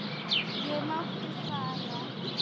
Ég mátti fara.